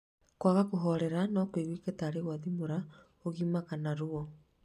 Kwaga kũhorera no kũiguĩke tarĩ gwathimũra, ũgima kana ruo